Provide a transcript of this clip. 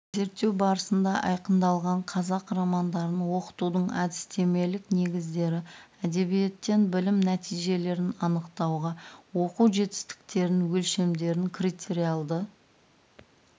зерттеу барысында айқындалған қазақ романдарын оқытудың әдістемелік негіздері әдебиеттен білім нәтижелерін анықтауға оқу жетістіктерін өлшемдерін критериалды